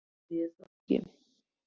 En nú þorði ég það ekki.